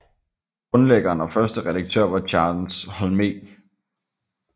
Grundlæggeren og første redaktør var Charles Holme